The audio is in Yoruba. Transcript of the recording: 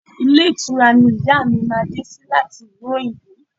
Ilé ìtura ni ìyá mi máa dé sí láti ìlú òyìnbó